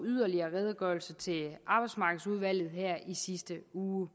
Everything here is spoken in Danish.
redegørelser til arbejdsmarkedsudvalget i sidste uge